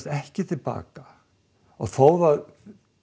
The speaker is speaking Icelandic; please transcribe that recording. ekki til baka og þó það